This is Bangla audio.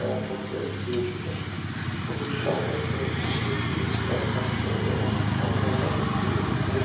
আহ দিয়েছিল রুশ সাম্রাজ্য চিনের কিং রাজবংশ এবং অন্যান্য শক্তিগুলি এই